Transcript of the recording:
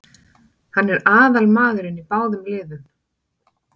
Hann er aðalmaðurinn í báðum liðum.